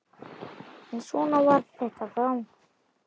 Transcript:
En svona var þetta þá.